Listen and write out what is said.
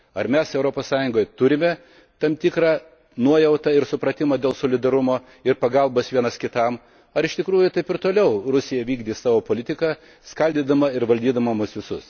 Ar mes Europos Sąjungoje turime tam tikrą nuojautą ir supratimą dėl solidarumo ir pagalbos vienas kitam, ar iš tikrųjų Rusija ir toliau vykdys savo politiką skaldydama ir valdydama mus visus?